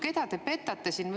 Keda te petate siin?